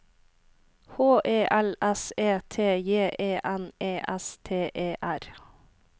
H E L S E T J E N E S T E R